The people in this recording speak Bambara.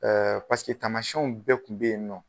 taamasiyɛnw bɛɛ tun be yen nɔ.